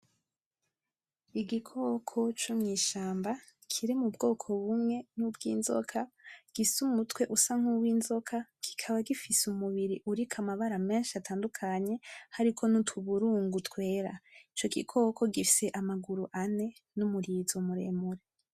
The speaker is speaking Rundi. Igikoko co mw'ishamba kiri m'ubwoko bumwe nk'ubwizoka gifise umutwe usa nk'uwizoka kikaba gifise umubiri uriko amabara menshi atadukanye hariko n'utuburugu twera, ico gikoko gifise amaguru ane n'umurizo muremure.